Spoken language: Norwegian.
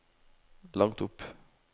langt opp